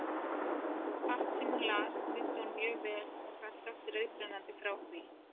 Allt, sem hún las, mundi hún mjög vel og gat sagt reiprennandi frá því.